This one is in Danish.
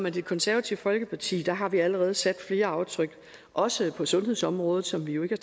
i det konservative folkeparti har har vi allerede sat flere aftryk også på sundhedsområdet som vi jo ikke